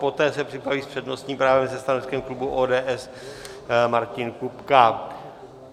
Poté se připraví s přednostním právem se stanoviskem klubu ODS Martin Kupka.